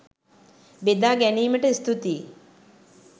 බෙදා ගැනීමට ස්තුතියි!